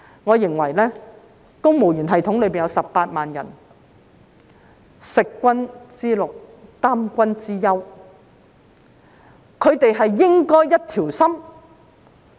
我認為公務員系統有18萬人，食君之祿，擔君之憂，他們應該一條心。